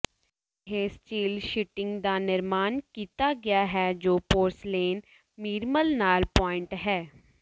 ਇਹ steel sheeting ਦਾ ਨਿਰਮਾਣ ਕੀਤਾ ਗਿਆ ਹੈ ਜੋ ਪੋਰਸਿਲੇਨ ਮੀਰਮਲ ਨਾਲ ਪੁਆਇੰਟ ਹੈ